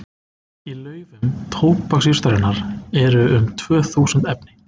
Í laufum tóbaksjurtarinnar eru um tvö þúsund efni.